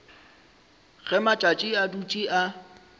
ge matšatši a dutše a